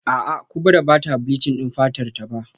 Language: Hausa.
A'a Kubra bata bleaching din fatarta ba